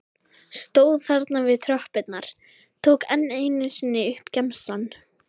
Stóð þarna við tröppurnar, tók enn einu sinni upp gemsann.